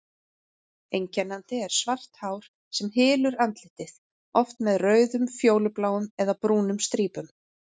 Einkennandi er svart hár sem hylur andlitið, oft með rauðum, fjólubláum eða brúnum strípum.